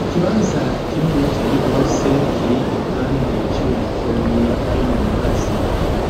Ikibanza kininiya cane gose, kiri iruhande y'ishure ritoyi ryo mu Mibazi,